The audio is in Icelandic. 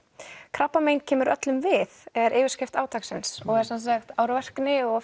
krabbamein kemur öllum við er yfirskrift átaksins og er sem sagt árvirkni og